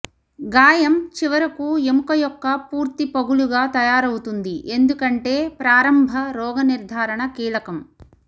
గాయం చివరకు ఎముక యొక్క పూర్తి పగులుగా తయారవుతుంది ఎందుకంటే ప్రారంభ రోగనిర్ధారణ కీలకం